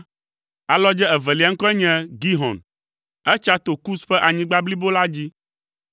Alɔdze evelia ŋkɔe nye Gihon. Etsa to Kus ƒe anyigba blibo la dzi.